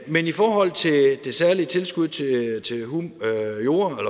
men i forhold til det særlige tilskud til